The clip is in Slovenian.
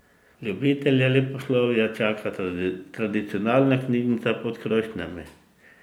Ljubitelje leposlovja čaka tradicionalna Knjižnica pod krošnjami.